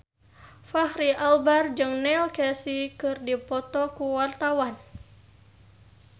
Fachri Albar jeung Neil Casey keur dipoto ku wartawan